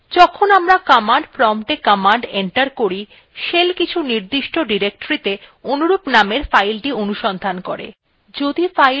যখন আমরা command prompta command enter key shell কিছু নির্দিষ্ট ডিরেক্টরীতে অনুরূপ নামের file অনুসন্ধান করে